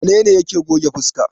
Wane ne yake goge fuska?